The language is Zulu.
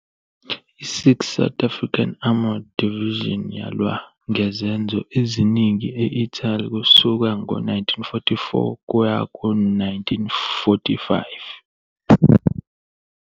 I- 6th South African Armored Division yalwa ngezenzo eziningi e-Italy kusuka ngo-1944 kuya ku-1945.